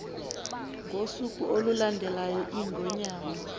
ngosuku olulandelayo iingonyama